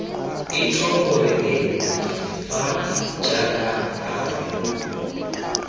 etsho moreneng fa jaaka lo